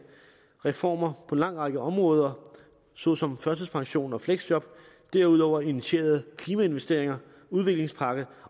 reformer på en lang række områder såsom førtidspension og fleksjob og derudover initieret klimainvesteringer og en udviklingspakke